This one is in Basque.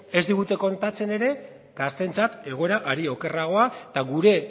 ez digute kontatzen ere gazteentzat egoera are okerragoa eta gure